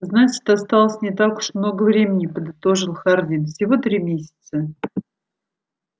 значит осталось не так уж много времени подытожил хардин всего три месяца